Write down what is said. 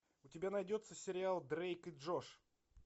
у тебя найдется сериал дрейк и джош